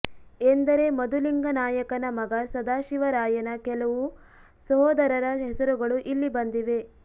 ಎಂದರೆ ಮಧುಲಿಂಗನಾಯಕನ ಮಗ ಸದಾಶಿವರಾಯನ ಕೆಲವು ಸಹೋದರರ ಹೆಸರುಗಳು ಇಲ್ಲಿ ಬಂದಿವೆ